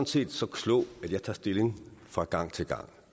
set så klog at jeg tager stilling fra gang til gang og